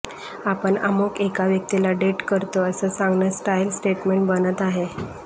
आपण अमुक एका व्यक्तीला डेट करतो असं सांगणं स्टाइल स्टेटमेंट बनत आहे